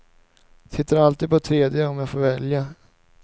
Sitter alltid på tredje om jag får välja.